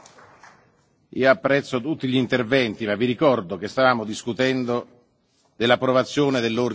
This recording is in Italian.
Io apprezzo tutti gli interventi, ma vi ricordo che stavamo discutendo dell'approvazione dell'ordine del giorno.